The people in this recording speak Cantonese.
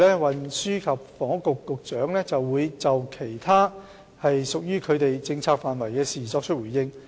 運輸及房屋局局長接着會就屬於其政策範疇的其他事宜作出回應。